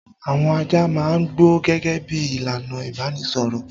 Àwọn ajá máa ń gbó gẹ́gẹ́ bí i ìlànà ìbanisọ̀rọ̀.